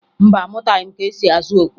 Mba, amụtaghị m ka esi azụ okwe